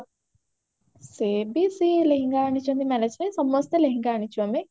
ସେ ବି ସେଇ ଲେହେଙ୍ଗା ଆଣିଛନ୍ତି marriageରେ ସମସ୍ତେ ଲେହେଙ୍ଗା ଆଣିଛୁ ଆମେ